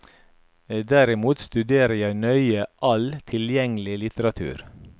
Derimot studerer jeg nøye all tilgjengelig litteratur.